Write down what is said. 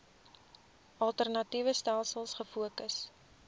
alternatiewe stelsels gefokus